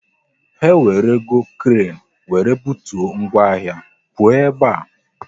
Ha ewerugo kren wéré butuo ngwa ahịa, pụọ ebe a!